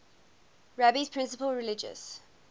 rabbi's principal religious